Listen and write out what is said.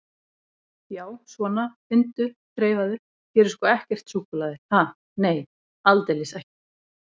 Já, svona, finndu, þreifaðu, hér er sko ekkert súkkulaði, ha, nei, aldeilis ekki.